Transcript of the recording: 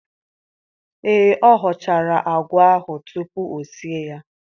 Ee, ọ họchara àgwà ahụ tupu o sie ya.